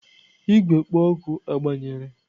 Igwe kpo oku agbanyere?